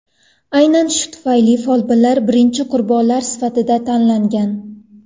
Aynan shu tufayli folbinlar birinchi qurbonlar sifatida tanlangan.